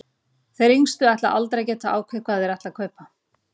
Þeir yngstu ætla aldrei að geta ákveðið hvað þeir ætla að kaupa.